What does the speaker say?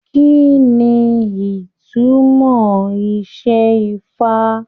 Kínní ìtumọ̀ isẹfa?